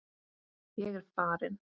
Ég er farin!